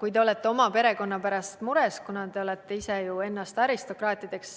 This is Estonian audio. Kui te olete oma perekonna pärast mures, kuna te ise olete ju ennast aristokraatideks